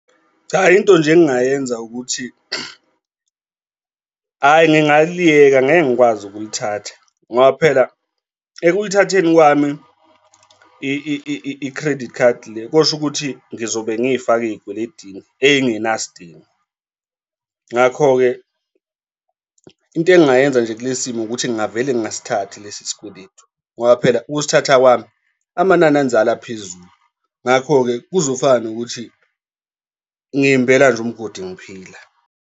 Cha, into nje engingayenza ukuthi hhayi, ngingaliyeka angeke ngikwazi ukulithatha ngoba phela ekulithatheni kwami i-credit card le kusho ukuthi ngizobe ngiy'fake ey'kweletini ey'ngenasidingo. Ngakho-ke into engingayenza nje kule simo ukuthi ngingavele ngingasithathi lesi sikweletu ngoba phela ukusithatha kwami amanani enzalo aphezulu. Ngakho-ke kuzofana nokuthi ngiy'mbela nje umgodi ngiphila.